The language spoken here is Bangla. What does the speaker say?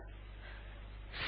এন্টার টিপলাম